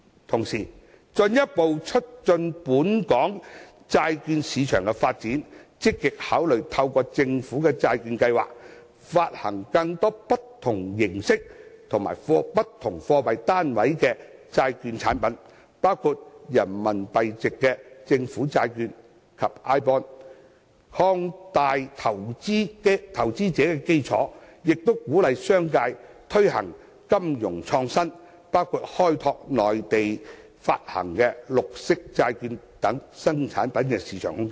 同時，進一步促進本港債券市場的發展，積極考慮透過政府債券計劃，發行更多不同形式及不同貨幣單位的債券產品，包括人民幣面值的政府債券及 iBond， 擴大投資者的基礎，亦鼓勵商界推行金融創新，包括開拓內地發行的綠色債券等新產品的市場空間。